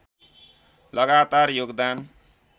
लगातार योगदान